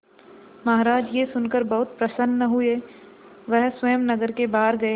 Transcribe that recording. महाराज यह सुनकर बहुत प्रसन्न हुए वह स्वयं नगर के बाहर गए